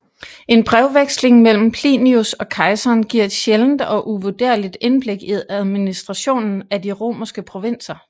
En brevveksling mellem Plinius og kejseren giver et sjældent og uvurderligt indblik i administrationen af de romerske provinser